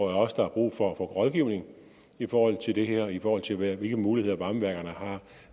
også der er brug for at få rådgivning i forhold til det her og i forhold til hvilke muligheder varmeværkerne